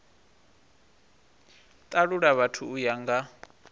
talula vhathu u ya nga